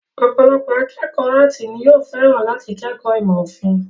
Ọ̀pọ̀lọpọ̀ akékọ̀ọ́ áàtì ni yóò fẹ́ràn láti kẹ́kọ̀ọ́ ìmọ̀ òfin.